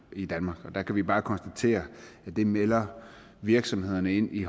i danmark og der kan vi bare konstatere at det melder virksomhederne ind i